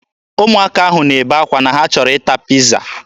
Ụmụaka ahụ na-ebe akwa na ha chọrọ ịta piiza.